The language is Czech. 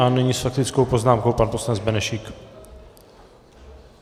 A nyní s faktickou poznámkou pan poslanec Benešík.